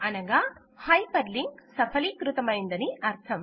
అనగా hyperlink సఫలీకృతమయిందని అర్థం